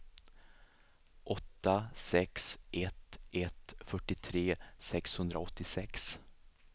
åtta sex ett ett fyrtiotre sexhundraåttiosex